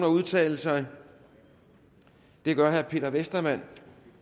udtale sig det gør herre peter westermann